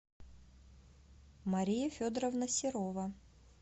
мария федоровна серова